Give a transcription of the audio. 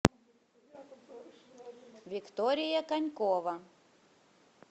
виктория конькова